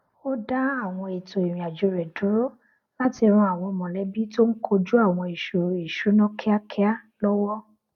ó dá àwọn ètò ìrìn àjò rẹ dúró láti ran àwọn mọlẹbí tó n kojú àwọn ìṣoro ìṣúná kíákíá lọwọ